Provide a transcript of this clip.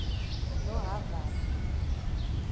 lohhavivi